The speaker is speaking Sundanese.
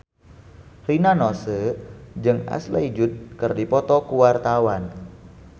Rina Nose jeung Ashley Judd keur dipoto ku wartawan